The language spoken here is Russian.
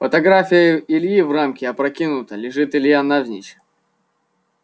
фотография ильи в рамке опрокинута лежит илья навзничь